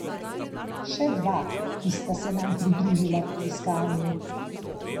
Še dva, ki sta se nam pridružila pri iskanju.